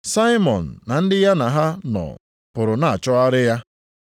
Saimọn na ndị ya na ha nọ pụrụ na-achọgharị ya.